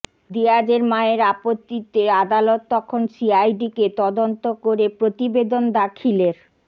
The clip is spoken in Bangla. দিয়াজের মায়ের আপত্তিতে আদালত তখন সিআইডিকে তদন্ত করে প্রতিবেদন দাখিলের